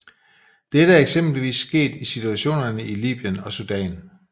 Dette er eksempelvis sket med situationerne i Libyen og Sudan